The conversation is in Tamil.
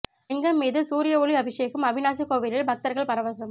லிங்கம் மீது சூரிய ஒளி அபிஷேகம் அவிநாசி கோவிலில் பக்தர்கள் பரவசம்